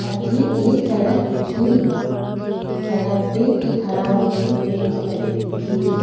अठे एक सड़क दिखेरी सड़क पे एक हरा रंग की बेंच लगी दिखेरी।